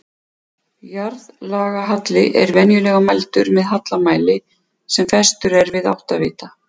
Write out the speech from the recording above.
Jarðlagahalli er venjulega mældur með hallamæli sem festur er við áttavita.